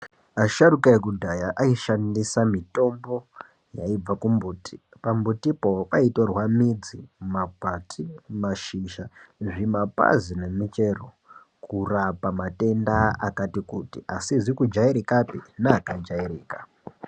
Asharuka ekudhaya aishandisa mitombo yaibva kumbuti pambutipo paitorwa midzi, makwati, mashizha, zvimapazi nemichero kurapa matenda akati kuti asizi kujairikapi neakajairika.